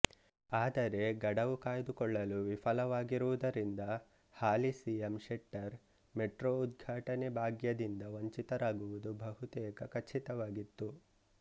ಆದರೆ ಗಡವು ಕಾಯ್ದುಕೊಳ್ಳಲು ವಿಫಲವಾಗಿರುವುದರಿಂದ ಹಾಲಿ ಸಿಎಂ ಶೆಟ್ಟರ್ ಮೆಟ್ರೊ ಉದ್ಘಾಟನೆ ಭಾಗ್ಯದಿಂದ ವಂಚಿತರಾಗುವುದು ಬಹುತೇಕ ಖಚಿತವಾಗಿತ್ತು